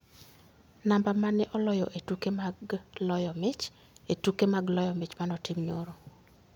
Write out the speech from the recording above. Namba mane oloyo e tuke mag loyo mich e tuke mag loyo mich ma ne otim nyoro?